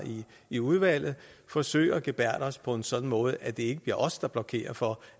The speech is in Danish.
i udvalget forsøge at gebærde os på en sådan måde at det ikke bliver os der blokerer for